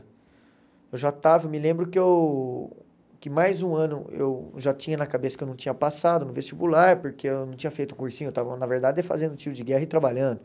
Eu já estava, me lembro que eu que mais um ano eu já tinha na cabeça que eu não tinha passado no vestibular, porque eu não tinha feito cursinho, eu estava na verdade fazendo tiro de guerra e trabalhando.